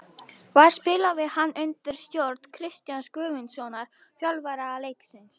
Þar spilaði hann undir stjórn Kristjáns Guðmundssonar, þjálfara Leiknis.